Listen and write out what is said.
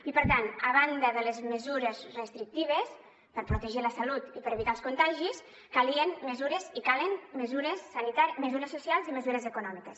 i per tant a banda de les mesures restrictives per protegir la salut i per evitar els contagis calien mesures i calen mesures socials i mesures econòmiques